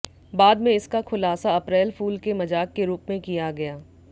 बाद में इसका खुलासा अप्रैल फूल के मजाक के रूप में किया गया